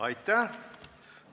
Aitäh!